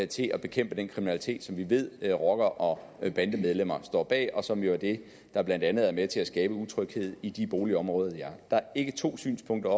til at bekæmpe den kriminalitet som vi ved rockere og bandemedlemmer står bag og som jo er det der blandt andet er med til at skabe utryghed i de boligområder der er ikke to synspunkter